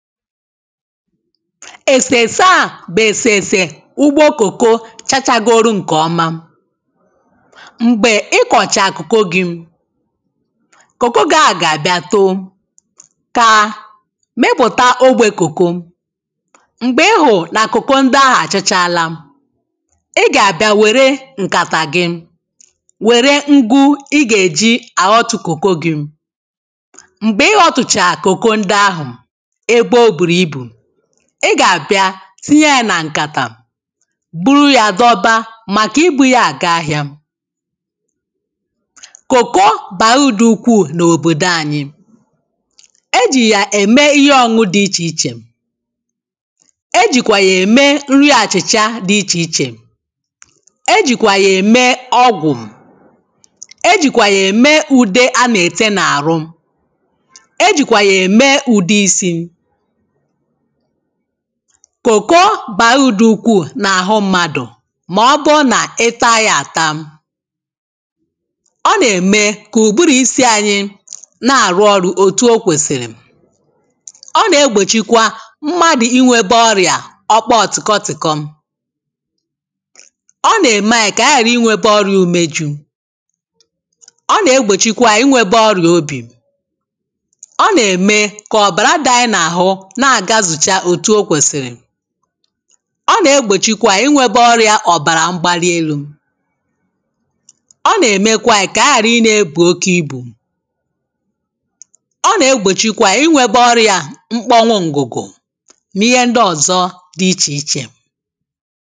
èsèèsè a bụ̀ èsèèsè ugbo kòko chachagoro ǹkèọma m̀gbè ị kọ̀chàa kòko gi kòkoko gi a gà-àbịa too kaa mịpụ̀ta ogbè kòko m̀gbè ị hụ̀rụ̀ na kòko ndi ahụ̀ àchachaala ị gà-àbịa wère ǹkàtà gị wère ṅgụ̇ i gà-èji àọtụ̀ kòko gi m̀gbè ihe ọtụ̀chàà kòko ndi ahụ̀ ị gà-àbịa tinye yȧ nà ǹkàtà bụrụ yȧ dọba màkà ibu̇ yȧ àga ahịȧ kòko bà udù ukwuù n’òbòdò anyị e jì yà ème ihe ọ̇ñụ̇dị̇ ichè ichè e jìkwà yà ème nri àchị̀chà dị ichè ichè e jìkwà yà ème ọgwụ̀ e jìkwà yà ème ùde a nà ète n’àrụ kòko bà udù ukwuu n’àhụ mmadụ̀ màọbụụ nà ị taa ya àta ọ nà-ème kà ùbụrụ̇ isi ȧnyị̇ na-àrụ ọrụ̇ òtù o kwèsìrì ọ nà-egbòchikwa mmadụ̀ inwėbė ọrịà ọkpa ọ̀tìkọtìkọ ọ nà-ème ayị̇ kà ànyị ghàra inwėbė ọrịà umėju ọ nà-egbòchikwa inwėbė ọrịà obì ọ nà-ème kà ọ̀bàràdà ayị n’àhụ ọ nà-egbòchikwa inwėbė ọrịȧ ọ̀bàrà mgbalielu ọ nà-èmekwa kà aghàra ị nȧ-ėbù oke ibù ọ nà-egbòchikwa inwėbė ọrịȧ mkponwụ ǹgụ̀gụ̀ n’ihe ndị ọ̀zọ dị ichè ichè